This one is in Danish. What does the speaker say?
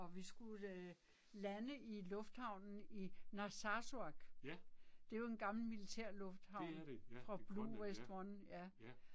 Og vi skulle lande i lufthavnen i Narsarsuaq. Det jo en gammel militærlufthavn fra Bluie West One